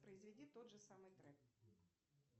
произведи тот же самый трек